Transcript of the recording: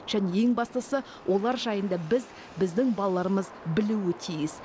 және ең бастысы олар жайында біз біздің балаларымыз білуі тиіс